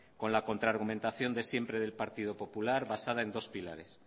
con la contra argumentación de siempre del partido popular basado en dos pilares